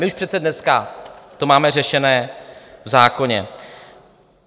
My už přece dneska to máme řešené v zákoně.